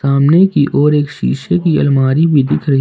सामने की ओर एक शीशे की अलमारी भी दिख रही--